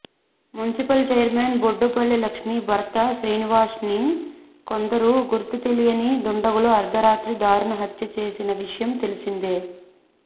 municipal chairman Boddupalli Lakshmi భర్త శ్రీనివాస్ను కొందరు గుర్తుతెలియని దుండగులు అర్ధరాత్రి దారుణ హత్య చేసిన విషయం తెలిసిందే